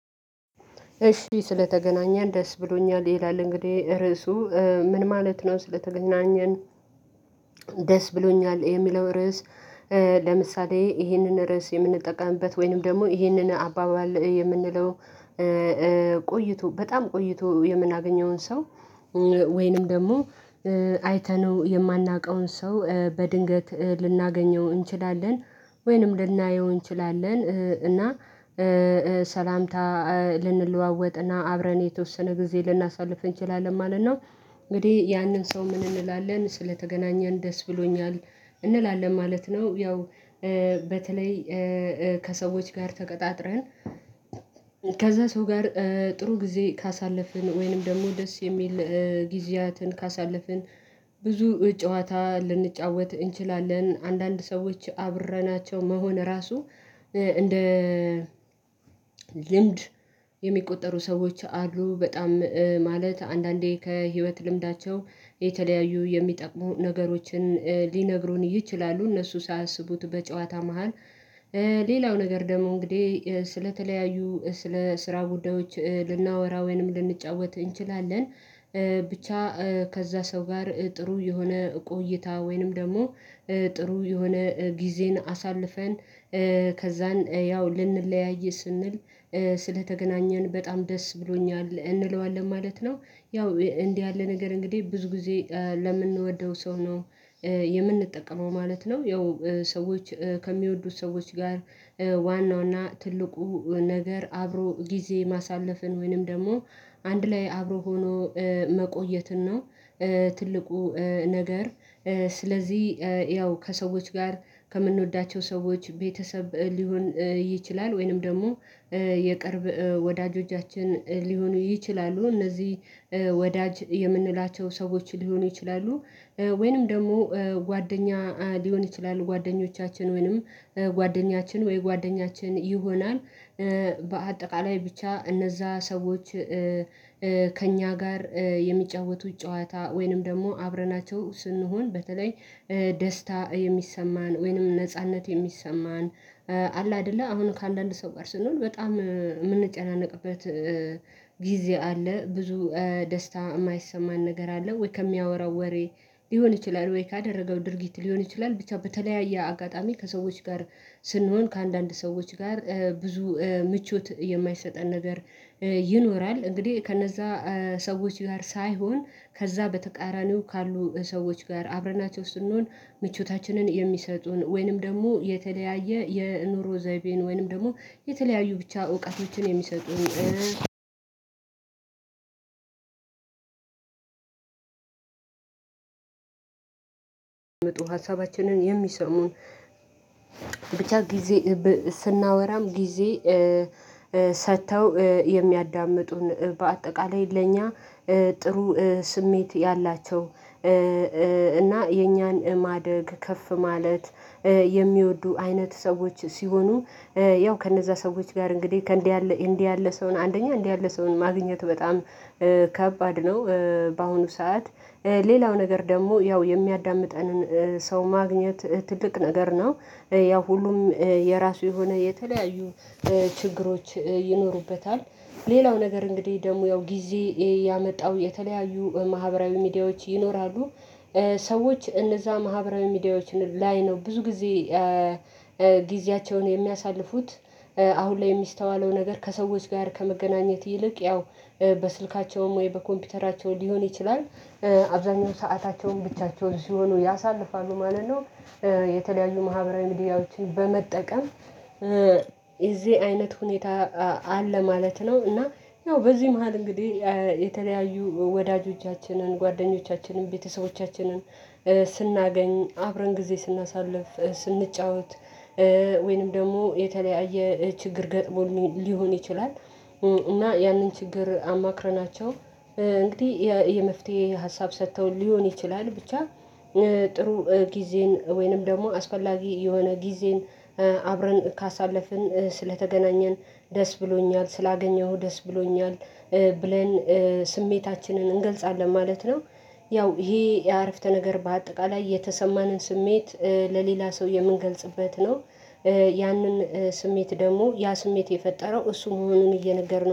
እሺ ስለተገናኘን ደስ ብሎኛል ይላል እንግዲህ ርዕሱ ምን ማለት ነው? ስለተገናኘን ደስ ብሎኛል የሚለው ርዕስ። ለምሳሌ ይህንን ርዕስ የምንጠቀምበት ወይንም ደግሞ ይህንን አባባል የምንለው። ቆይቶ በጣም ቆይቶ የምናገኘውን ሰው ወይንም ደግሞ አይተነው የማናውቀውን ሰው በድንገት ልናገኘው እንችላለን ወይንም ልናየው እንችላለን እና ሰላምታ ልንለዋወጥና አብረን የተወሰነ ጊዜ ልናሳልፍ እንችላለን ማለት ነው። እንግዲህ ያንን ሰው ምን እንላለን ስለተገናኘን ደስ ብሎኛል እንላለን ማለት ነው። ያው በተለይ ከሰዎች ጋር ተቀጣጥረን ከዛ ሰው ጋር ጥሩ ጊዜ ካሳለፍን ወይንም ደግሞ ደስ የሚል ጊዜያትን ካሳለፍን። ብዙ ጨዋታ ልንጫወት እንችላለን አንዳንድ ሰዎች አብረናቸው መሆን ራሱ እንደ ልምድ የሚቆጠሩ ሰዎች አሉ። በጣም ማለት አንዳንዴ ከህይወት ልምዳቸው የተለያዩ የሚጠቅሙ ነገሮችን ሊነግሩን ይችላሉ እነሱ ሳያስቡት በጨዋታ መሃል። ሌላው ነገር ደግሞ እንግዲህ ስለተለያዩ ስለ ስራ ጉዳዮች ልናወራ ወይንም ልንጫወት እንችላለን። ብቻ ከዛ ሰው ጋር ጥሩ የሆነ ቆይታ ወይንም ደግሞ ጥሩ የሆነ ጊዜን አሳልፈን ከዛን ያው ልንለያይ ስንል ስለተገናኘን በጣም ደስ ብሎኛል እንለዋለን ማለት ነው። ያው እንዲህ ያለ ነገር እንግዲህ ብዙ ጊዜ ለምንወደው ሰው ነው የምንጠቀመው ማለት ነው። ያው ሰዎች ከሚወዱት ሰዎች ጋር ዋናውና ትልቁ ነገር አብሮ ጊዜ ማሳለፍን ወይንም ደግሞ አንድ ላይ አብሮ ሆኖ መቆየትን ነው። ትልቁ ነገር ስለዚህ ያው ከሰዎች ጋር ከምንወዳቸው ሰዎች ቤተሰብ ሊሆን ይችላል ወይንም ደግሞ የቅርብ ወዳጆቻችን ሊሆኑ ይችላሉ። እነዚህ ወዳጅ የምንላቸው ሰዎች ሊሆኑ ይችላሉ ወይንም ደግሞ ጓደኛ ሊሆን ይችላል ጓደኞቻችን ወይንም ጓደኛችን ወይ ጓደኛችን ይሆናል። በአጠቃላይ ብቻ እነዛ ሰዎች ከእኛ ጋር የሚጫወቱት ጨዋታ ወይንም ደግሞ አብረናቸው ስንሆን በተለይ ደስታ የሚሰማን ወይንም ነጻነት የሚሰማን። አለ አይደለ አሁን ከአንዳንድ ሰው ጋር ስንሆን በጣም የምንጨናነቅበት ወሬ ሊሆን ይችላል። ወይ ካደረገው ድርጊት ሊሆን ይችላል ብቻ በተለያየ አጋጣሚ ከሰዎች ጋር ስንሆን ከአንዳንድ ሰዎች ጋር ብዙ ምቾት የማይሰጠን ነገር ይኖራል። እንግዲህ ከነዛ ሰዎች ጋር ሳይሆን ከዛ በተቃራኒው ካሉ ሰዎች ጋር አብረናቸው ስንሆን ምቾታችንን የሚሰጡን ወይንም ደግሞ የተለያየ የኑሮ ዘይቤን ወይንም ደግሞ የተለያዩ ብቻ እውቀቶችን የሚሰጡን። መጡ ሀሳባችንን የሚሰሙን ብቻ ጊዜ ስናወራም ጊዜ ሰጥተው የሚያዳምጡን በአጠቃላይ ለኛ ጥሩ ስሜት ያላቸው። እና የእኛን ማደግ ከፍ ማለት የሚወዱ አይነት ሰዎች ሲሆኑ። ያው ከነዛ ሰዎች ጋር እንግዲህ ከእንዲህ ያለ እንዲህ ያለ ሰውን አንደኛ እንዲህ ያለ ሰውን ማግኘቱ በጣም ከባድ ነው። በአሁኑ ሰዓት ሌላው ነገር ደግሞ ያው የሚያዳምጠንን ሰው ማግኘት ትልቅ ነገር ነው። ያው ሁሉም የራሱ የሆነ የተለያዩ ችግሮች ይኖሩበታል። ሌላው ነገር እንግዲህ ደግሞ ያው ጊዜ ያመጣው የተለያዩ ማህበራዊ ሚዲያዎች ይኖራሉ። ሰዎች እነዛ ማህበራዊ ሚዲያዎችን ላይ ነው ብዙ ጊዜ ጊዜያቸውን የሚያሳልፉት። አሁን ላይ የሚስተዋለው ነገር ከሰዎች ጋር ከመገናኘት ይልቅ ያው በስልካቸውም ወይ በኮምፒውተራቸው ሊሆን ይችላል። አብዛኛው ሰአታቸውን ብቻቸውን ሲሆኑ ያሳልፋሉ ማለት ነው። የተለያዩ ማህበራዊ ሚዲያዎችን በመጠቀም እዚህ አይነት ሁኔታ አለ ማለት ነው። እና ያው በዚህ መሃል እንግዲህ የተለያዩ ወዳጆቻችንን ጓደኞቻችንን ቤተሰቦቻችንን ስናገኝ አብረን ጊዜ ስናሳልፍ ስንጫወት። ወይንም ደግሞ የተለያየ ችግር ገጥሞን ሊሆን ይችላል እና ያንን ችግር አማክረናቸው እንግዲህ የመፍትሄ ሀሳብ ሰጥተው ሊሆን ይችላል። ብቻ ጥሩ ጊዜን ወይንም ደግሞ አስፈላጊ የሆነ ጊዜን አብረን ካሳለፍን ስለተገናኘን ደስ ብሎኛል ስላገኘሁ ደስ ብሎኛል። ብለን ስሜታችንን እንገልጻለን ማለት ነው። ያው ይሄ የአረፍተ ነገር በአጠቃላይ የተሰማንን ስሜት ለሌላ ሰው የምንገልጽበት ነው። ያንን ስሜት ደግሞ ያ ስሜት የፈጠረው እሱ መሆኑን እየነገርን